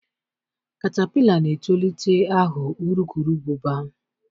katapila na-etolite aghọ urukurubụba.